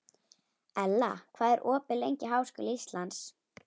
Ella, hvað er opið lengi í Háskóla Íslands?